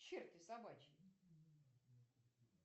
черти собачьи